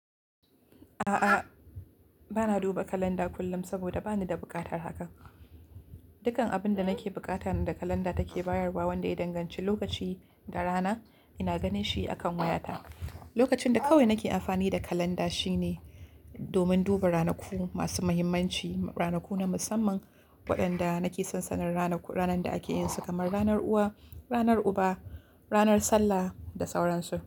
A'a, ba na duba kalanda kullum saboda ba ni da buƙatar hakan. Dukan abin da nake bukata na da kalanda take bayarwa wanda ya danganci lokaci da rana ina ganin shi akan wayata. Lokacin da kawai nake amfani da kalanda shine domin duba ranaku masu mahimmanci, ranaku na musamman waenda nake san sanin ranaku ranan da ake yinsu kamar ranar uwa, ranar uba, ranar sallah da sauran su.